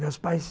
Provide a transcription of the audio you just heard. Meus pais...